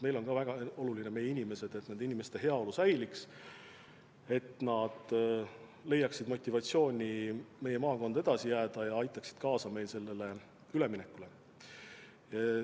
Meile on ka väga olulised meie inimesed: nende inimeste heaolu peab püsima, et nad leiaksid motivatsiooni meie maakonda edasi jääda ja aitaks kaasa sellele üleminekule.